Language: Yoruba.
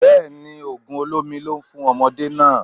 Bẹ́ẹ̀ni, ògùn olómi ló ń fún ọmọdé náà